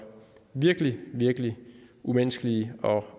virkelig virkelig umenneskelige og